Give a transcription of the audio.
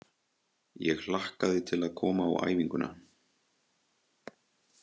Ég hlakkaði til að koma á æfinguna.